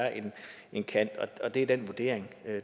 en kant det er den vurdering